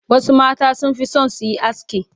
Wasu mata sun fi son su yi aski.